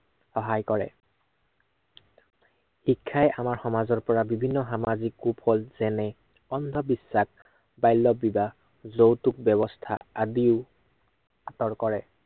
সহায় কৰে। শিক্ষাই আমাৰ সমাজৰ পৰা বিভিন্ন সামাজিক কু-ফল যেনে, অন্ধবিশ্বাস, বাল্য়বিবাহ, যৌতুক ব্য়ৱস্থা আদি আঁতৰ কৰে।